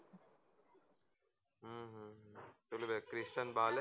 Christian Bale